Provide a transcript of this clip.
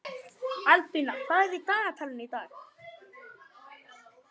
Albína, hvað er í dagatalinu í dag?